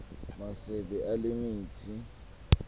masebe ale mithi